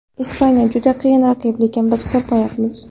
Ispaniya juda qiyin raqib, lekin biz qo‘rmayapmiz.